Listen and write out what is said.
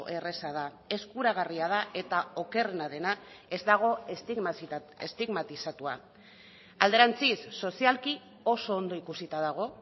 erraza da eskuragarria da eta okerrena dena ez dago estigmatizatua alderantziz sozialki oso ondo ikusita dago